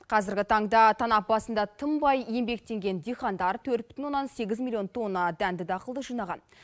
қазіргі таңда танап басында тынбай еңбектенген диқандар төрт бүтін оннан сегіз миллион тонна дәнді дақылды жинаған